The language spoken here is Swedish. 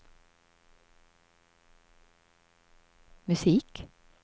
musik